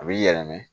A b'i yɛlɛma